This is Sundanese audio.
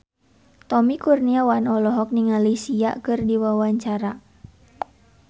Tommy Kurniawan olohok ningali Sia keur diwawancara